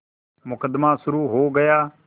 मुकदमा शुरु हो गया